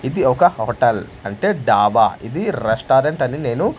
ఇది ఒక హోటల్ అంటే డాబా ఇది రెస్టారెంట్ అని నేను--